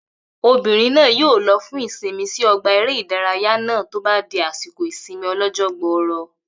Obìnrin náà yóò lo fún ìsinmi sí ọgbà eré ìdárayá náà tó bá di àsìkò ìsinmi ọlọ́jọ́ gbọrọ